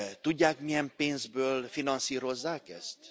Tudják, milyen pénzből finanszírozzák ezt?